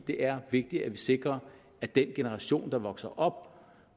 det er vigtigt at vi sikrer at den generation der vokser op